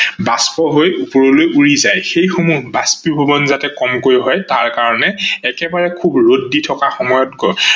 বাষ্প হৈ ওপৰলৈ উৰি যায় সেই সমূহ বাষ্পীভবন যাতে কমকৈ হয় তাৰ কাৰনে একেবাৰে খুব ৰদ দি থকা সময়ত আমি পানী দিলে তাতিয়াও আমি সুফল পাব পাৰো।